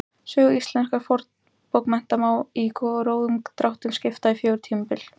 Sögu íslenskra fornbókmennta má í grófum dráttum skipta í fjögur tímabil.